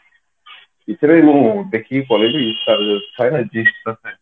ଏଥର ମୁଁ ଦେଖି zee cinema ରେ